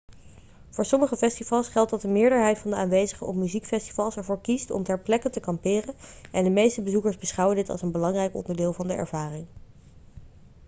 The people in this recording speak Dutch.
voor sommige festivals geldt dat de meerderheid van de aanwezigen op muziekfestivals ervoor kiest om ter plekke te kamperen en de meeste bezoekers beschouwen dit als een belangrijk onderdeel van de ervaring